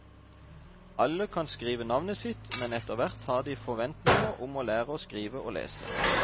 Alle kan skrive navnet sitt, men etterhvert har de forventninger om å lære å skrive og lese.